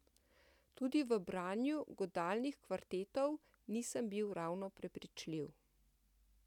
Tudi v branju godalnih kvartetov nisem bil ravno prepričljiv.